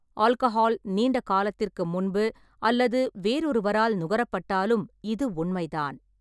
Alcohol நீண்ட காலத்திற்கு முன்பு அல்லது வேறொருவரால் நுகரப்பட்டாலும் இது உண்மைதான்.